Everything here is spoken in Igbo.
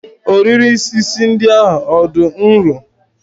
Ohiri isi ndị ahụ dị nro?